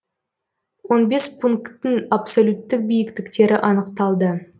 он бес пункттің абсолюттік биіктіктері анықталды